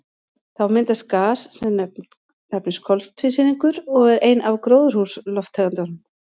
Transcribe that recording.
Þá myndast gas sem nefnist koltvísýringur og er ein af gróðurhúsalofttegundunum.